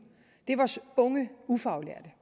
er vores unge ufaglærte